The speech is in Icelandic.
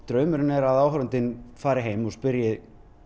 draumurinn er að áhorfandinn fari heim og spyrji